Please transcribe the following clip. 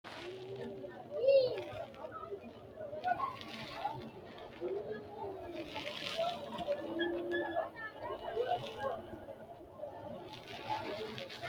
hawasi quchumi giddo babbaxxitino qixaawo shiqqanno yannara budu uduunne uddiratenni ayimasi leellishanno garinni gamba yee sirbunni ikko addi addi qixxawonni hagiidhanno gambosheeti.